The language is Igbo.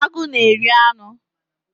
Agụ na-eri anụ